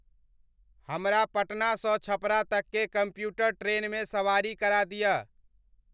हमरा पटना स छपरा तक के कम्यूटर ट्रेन में सवारी करा दिय